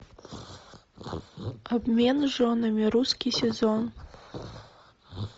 обмен женами русский сезон